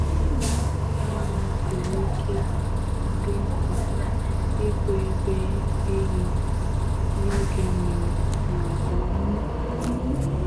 Mma mma siri ike dị mkpa igwu ebe ehi n’oge nmiri na nke ọkụ.